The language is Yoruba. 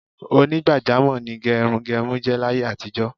Onígbàjámò̩ ni ge̩runge̩run jé̩ láyé àtijó̩.